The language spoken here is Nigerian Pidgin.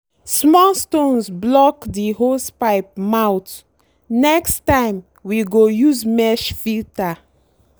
small stones block the hosepipe mouth—next time we go use mesh filter.